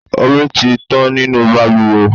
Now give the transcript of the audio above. Omi tí tán nínú bàlùwẹ̀.